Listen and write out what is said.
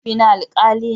Mahaifina alkali ne.